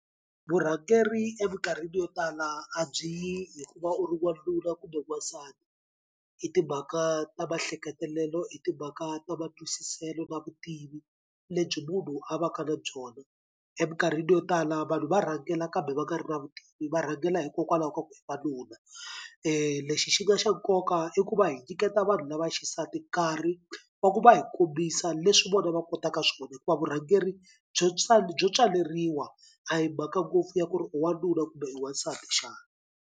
Vurhangeri emikarhini yo tala a byi yi hi ku va u ri n'wanuna kumbe n'wasati i timhaka ta maehleketelo, i timhaka ta matwisiselo na vutivi lebyi munhu a va ka na byona. Emikarhini yo tala vanhu va rhangela kambe va nga ri na vutivi va rhangela hikokwalaho ka ku wanuna. lexi xi nga xa nkoka i ku va hi nyiketa vanhu lava xisati nkarhi wa ku va hi kombisa leswi vona va kotaka swona hikuva vurhangeri byo byo tswaleriwa a hi mhaka ngopfu ya ku ri u wanuna kambe wasati xana?